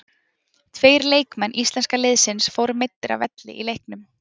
Tveir leikmenn íslenska liðsins fóru meiddir af velli í leiknum.